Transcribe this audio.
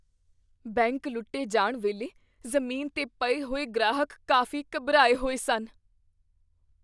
Bank ਲੁੱਟੇ ਜਾਣ ਵੇਲੇ ਜ਼ਮੀਨ 'ਤੇ ਪਏ ਹੋਏ ਗ੍ਰਾਹਕ ਕਾਫ਼ੀ ਘਬਰਾਏ ਹੋਏ ਸਨ।